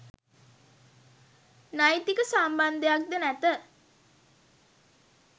නෛතික සම්බන්ධයක් ද නැත.